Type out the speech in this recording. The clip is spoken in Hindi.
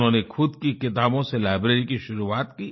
उन्होंने खुद की किताबों से लाइब्रेरी की शुरुआत की